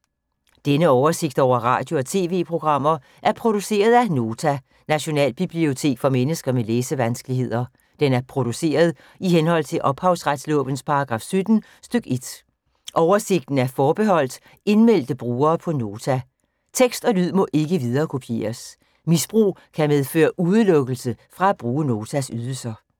Denne oversigt over radio og TV-programmer er produceret af Nota, Nationalbibliotek for mennesker med læsevanskeligheder. Den er produceret i henhold til ophavsretslovens paragraf 17 stk. 1. Oversigten er forbeholdt indmeldte brugere på Nota. Tekst og lyd må ikke viderekopieres. Misbrug kan medføre udelukkelse fra at bruge Notas ydelser.